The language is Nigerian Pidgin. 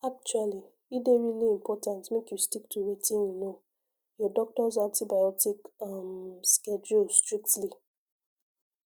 actually e dey really important make you stick to wetin yunno your doctors antibiotic um schedule strictly